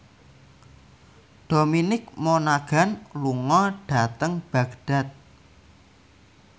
Dominic Monaghan lunga dhateng Baghdad